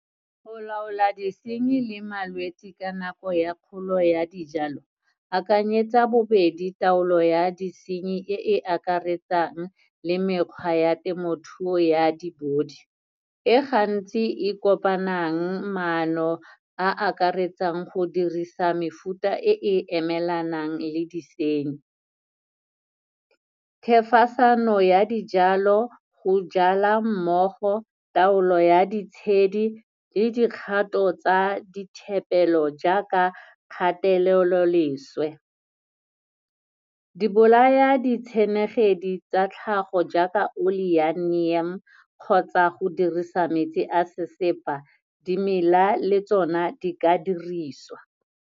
Go laola disenyi le malwetsi ka nako ya kgolo ya dijalo akanyetsa bobedi taolo ya ditshenyi e e akaretsang le mekgwa ya temothuo ya di-body, e gantsi e kopanang maano a akaretsang go dirisa mefuta e e emelanang le disenyi. Thefosano ya dijalo, go jala mmogo, taolo ya ditshedi le dikgato tsa dithepelo jaaka kgateleloleswe. Di bolaya ditshenekegi tsa tlhago jaaka oli ya neem, kgotsa go dirisa metsi a sesepa, dimela le tsona di ka dirisiwa.